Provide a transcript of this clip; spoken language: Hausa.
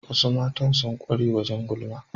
Wasu Matan sun kware wajen gulma